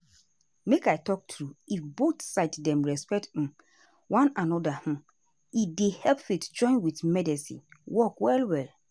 make i talk true if both side dem respect umm one anoda hmmm e dey help faith join with medicine work well well.